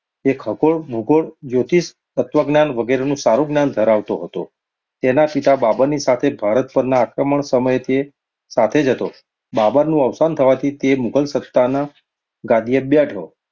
તે ખગોળ, ભૂગોળ, જ્યોતિષ, તત્ત્વજ્ઞાન વગેરેનું સારું જ્ઞાન ધરાવતો હતો. તેના પિતા બાબરની સાથે ભારત પરના આક્રમણ સમયે તે સાથે જ હતો. બાબરનું અવસાન થવાથી તે મુઘલ સત્તાના ગાદીએ બેઠો.